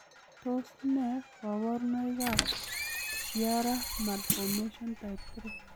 Tos nee koborunoikab Chiari malformation type 3?